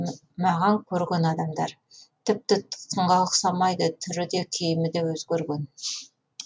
маған көрген адамдар тіпті тұтқынға ұқсамайды түрі де киімі де өзгерген